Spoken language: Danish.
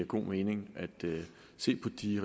kun meningen